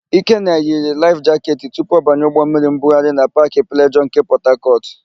Ikenna yiri laịf jaketị tupu ọ banye ụgbọmmiri mbugharị na Paakị Plejọọ nke Pọtakọtụ.